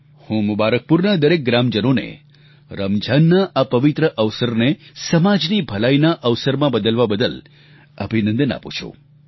હું મુબારકપુરના દરેક ગ્રામજનોને રમજાનના આ પવિત્ર અવસરને સમાજની ભલાઈના અવસરમાં બદલવા બદલ અભિનંદન આપું છું